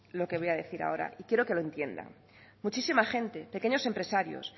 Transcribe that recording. lo que voy a decir ahora y quiero que lo entienda muchísima gente pequeños empresarios